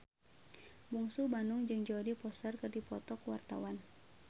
Bungsu Bandung jeung Jodie Foster keur dipoto ku wartawan